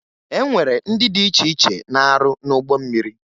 E nwere ndị dị iche iche na-arụ n'ụgbọ mmiri